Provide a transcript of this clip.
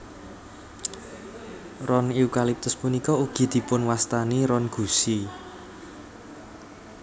Ron eukaliptus punika ugi dipunwastani ron gusi